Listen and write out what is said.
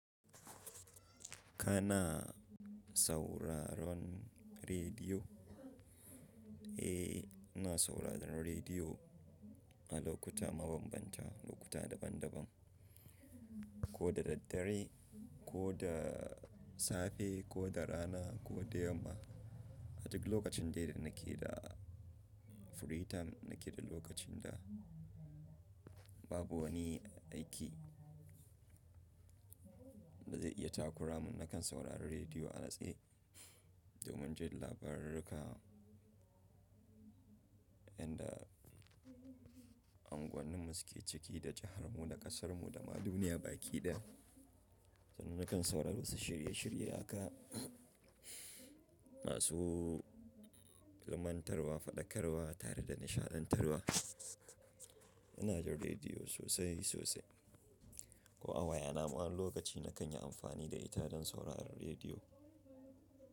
Kana sauraron rediyo? Eh, ina sauraron rediyo, a lokuta mabambanta, lokuta daban-daban, ko da daddare, ko da safe, ko da rana, ko da yamma. A duk lokacin dai da nake da free time, ina ke da lokacin da babu wani aiki da zai iya takura mun, nakan saurari rediyo a natse A duk lokacin da ina ke da free time, ina ke da lokacin da babu wani aiki inda unguwannin mu suke ciki, da jihar mu, da kasar mu, da ma duniya baki daya. Sannan nakan saurari wasu shirye-shirye akan, masu lumantarwa, faɗakarwa tare da nishadantarwa. Ina jin rediyo sosai sosai, ko a waya na ma, wani lokaci na kan yi amfani da ita don sauraron rediyo.